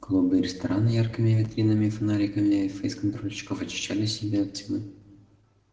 клубы и рестораны яркими витринами и фонариками фейсконтрольщиков очищали себе от тьмы